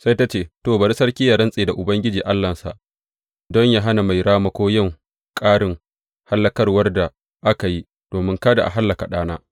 Sai ta ce, To, bari sarki yă rantse da Ubangiji Allahnsa don yă hana mai ramako yin ƙarin hallakawar da aka yi, domin kada a hallaka ɗana.